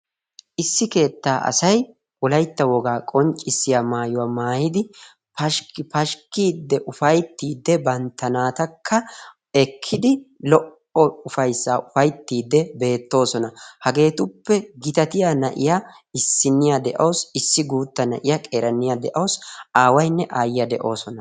issi keettaa asay wollaytta wogaa qonccisiyaa maayuwaa maayidi pashikki pashikkidi ufayttiidi bantta naatakka ekkidi lo"o ufayssaa ufayttiidi beetoosona. hageetuppe gitaatiyaa na'iyaa qeeranna de"awus aawaynne ayyiyaa de"oosona.